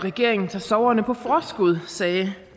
regeringen tager sorgerne på forskud sagde